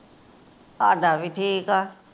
ਸਾਡਾ ਵੀ ਠੀਕ ਆ।